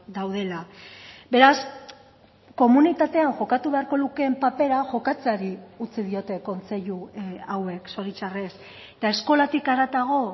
daudela beraz komunitatean jokatu beharko lukeen papera jokatzeari utzi diote kontseilu hauek zoritxarrez eta eskolatik haratago